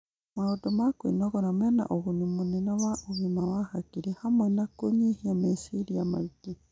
Maũndũ ma kwĩnogora mena ũguni mũnene wa ũgima wa hakiri, hamwe na kũnyihia meciria maingĩ